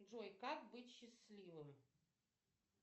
джой как быть счастливым